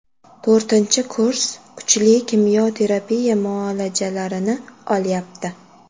To‘rtinchi kurs kuchli kimyo terapiya muolajalarini olyapti.